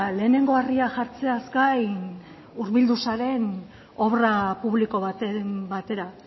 lehenengo harria jartzeaz gain hurbildu zaren obra publiko baten batera